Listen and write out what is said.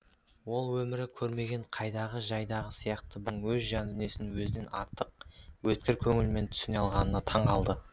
ол өмірі көрмеген қайдағы жайдағы сияқты бір адамның өз жан дүниесін өзінен артық өткір көңілмен түсіне алғанына таң қалды